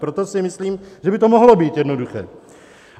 Proto si myslím, že by to mohlo být jednoduché.